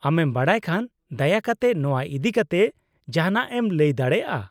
-ᱟᱢᱮᱢ ᱵᱟᱰᱟᱭ ᱠᱷᱟᱱ ᱫᱟᱭᱟᱠᱟᱛᱮ ᱱᱚᱣᱟ ᱤᱫᱤ ᱠᱟᱛᱮ ᱡᱟᱦᱟᱱᱟᱜ ᱮᱢ ᱞᱟᱹᱭ ᱫᱟᱲᱮᱭᱟᱜᱼᱟ ?